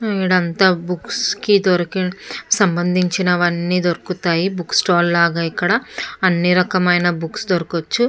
ఇదంతా బుక్స్ కి దొరికే సంబంధించినవన్నీ దొరుకుతాయి. బుక్ స్టాల్ లాగా ఎక్కడ అన్ని రకాల బుక్స్ దొరకొచ్చు .